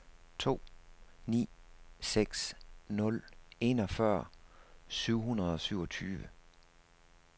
to ni seks nul enogfyrre syv hundrede og syvogtyve